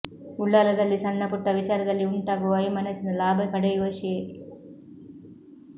ಉಳ್ಳಾಲದಲ್ಲಿ ಸಣ್ಣ ಪುಟ್ಟ ವಿಚಾರದಲ್ಲಿ ಉಂಟಾಗುವ ವೈಮನಸ್ಸಿನ ಲಾಭ ಪಡೆಯುವ ಶೇ